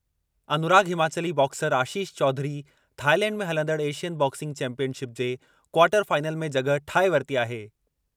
अनुराग Himachali boxer Ashish Chaudhary Thailand में हलंदड़ Asian boxing championship जे क्वार्टर फाइनल में जॻहि ठाहे वरिती आहे।